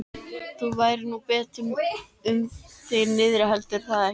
Það færi nú betur um þig niðri, heldurðu það ekki?